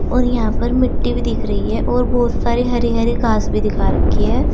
और यहां पर मिट्टी भी दिख रही है और बहोत सारे हरे हरे घास भी दिखा रखी है।